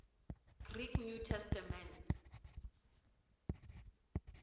greek new testament